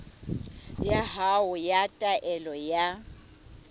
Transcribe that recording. ya hao ya taelo ya